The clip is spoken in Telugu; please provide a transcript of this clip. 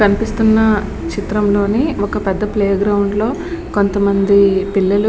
కనిపిస్తున్న చిత్రం లోని ఒక పెద్ధ ప్లే గ్రౌండ్ లో కొంతమంది పిల్లలు --